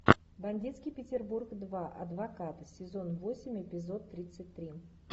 бандитский петербург два адвокат сезон восемь эпизод тридцать три